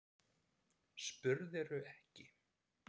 Spurðirðu ekki?